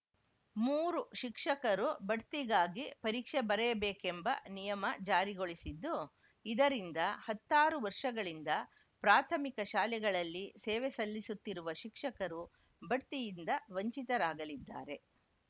ಮೂರು ಶಿಕ್ಷಕರು ಬಡ್ತಿಗಾಗಿ ಪರೀಕ್ಷೆ ಬರೆಯಬೇಕೆಂಬ ನಿಯಮ ಜಾರಿಗೊಳಿಸಿದ್ದು ಇದರಿಂದ ಹತ್ತಾರು ವರ್ಷಗಳಿಂದ ಪ್ರಾಥಮಿಕ ಶಾಲೆಗಳಲ್ಲಿ ಸೇವೆ ಸಲ್ಲಿಸುತ್ತಿರುವ ಶಿಕ್ಷಕರು ಬಡ್ತಿಯಿಂದ ವಂಚಿತರಾಗಲಿದ್ದಾರೆ